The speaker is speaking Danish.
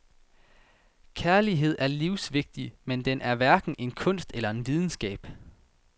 Kærlighed er livsvigtig, men den er hverken en kunst eller en videnskab.